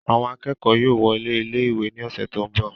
Àwọn akẹ́kọ̀ọ́ yóò wọlé ilé ìwé ní ọ̀sẹ̀ tó ń bọ̀